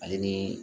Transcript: Ale ni